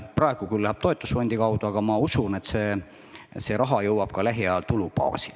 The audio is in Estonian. Praegu käib see küll toetusfondi kaudu, aga ma usun, et see raha jõuab lähiajal tulubaasi.